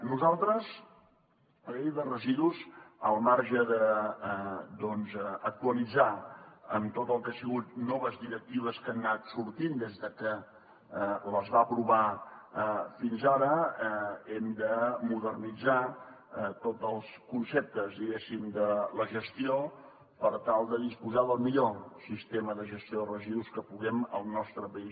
nosaltres la llei de residus al marge d’actualitzar la amb tot el que han sigut noves directives que han anat sortint des que es va aprovar fins ara hem de modernitzar ne tots els conceptes diguéssim de la gestió per tal de disposar del millor sistema de gestió de residus que puguem al nostre país